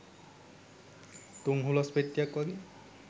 තුන් හුලස් පෙට්ටියක් වගේ